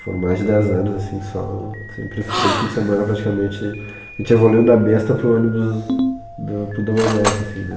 Foram mais de dez anos, assim, só... Sempre f, todo fim de semana, praticamente... A gente evoluiu da besta para o ônibus, para o double deck, assim, né?